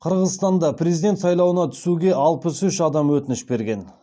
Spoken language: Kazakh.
қырғызстанда президент сайлауына түсуге алпыс үш адам өтініш берген